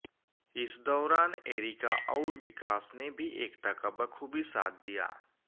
इस दौरान एरिका और विकास ने भी एकता का बखूबी साथ दिया